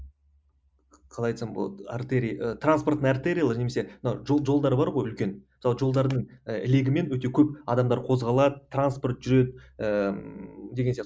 қалай айтсам болады артерий ы транстпортный артериялар немесе мына жол жолдар бар ғой үлкен мысалы жолдардың ы легімен өте көп адамдар қозғалады транспорт жүреді ііі деген сияқты